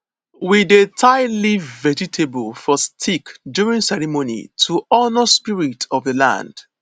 we dey tie leaf vegetable for stick during ceremony to honour spirits of the land